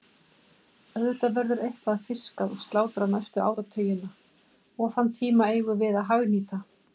Auðvitað verður eitthvað fiskað og slátrað næstu áratugina og þann tíma eigum við að hagnýta.